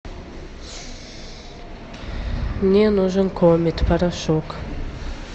мне нужен комет порошок